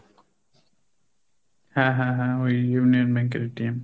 হ্যাঁ হ্যাঁ ওই Union bank এর